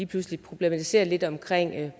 pludselig problematiseret lidt omkring